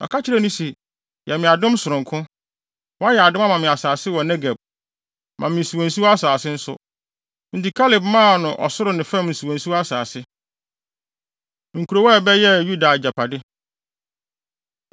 Ɔka kyerɛɛ no se, “Yɛ me adom sononko. Woayɛ adom, ama me Asase wɔ Negeb; ma me nsuwansuwa asase nso.” Enti Kaleb maa no ɔsoro ne fam nsuwansuwa asase. Nkurow A Ɛbɛyɛɛ Yuda Agyapade